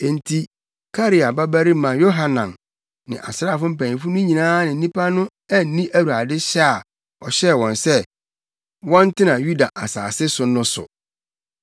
Enti Karea babarima Yohanan ne asraafo mpanyimfo no nyinaa ne nnipa no anni Awurade hyɛ a ɔhyɛɛ wɔn sɛ, wɔntena Yuda asase so no so.